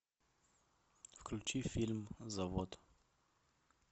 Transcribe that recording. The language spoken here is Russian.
включи фильм завод